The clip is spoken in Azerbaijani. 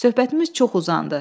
Söhbətimiz çox uzandı.